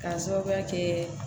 K'a sababuya kɛ